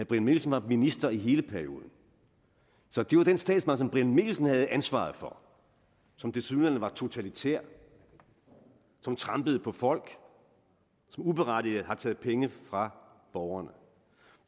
brian mikkelsen var minister i hele perioden så det var den statsmagt som herre brian mikkelsen havde ansvaret for som tilsyneladende var totalitær som trampede på folk som uberettiget har taget penge fra borgerne